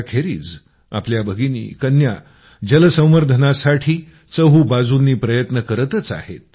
त्याखेरीज आपल्या भगिनी कन्या जलसंवर्धनासाठी चहूबाजूंनी प्रयत्न करतच आहेत